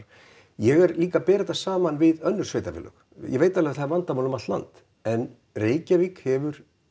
ég vil líka bera þetta saman við önnur sveitarfélög ég veit alveg að það er vandamál um allt land en Reykjavík hefur